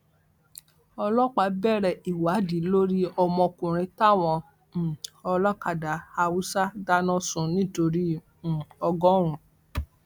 ọlọpàá bẹrẹ ìwádìí lórí ọmọkùnrin táwọn um ọlọkadà haúsá dáná sun nítorí um ọgọrùn